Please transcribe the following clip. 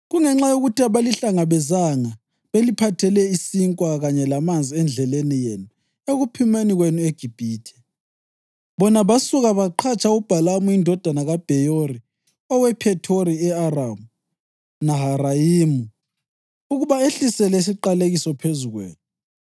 Kungenxa yokuthi abalihlangabezanga beliphathele isinkwa kanye lamanzi endleleni yenu ekuphumeni kwenu eGibhithe, bona basuka baqhatsha uBhalamu indodana kaBheyori owePhethori e-Aramu Naharayimu ukuba ehlisele isiqalekiso phezu kwenu.